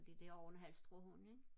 fordi det er jo en halvstor hund ikke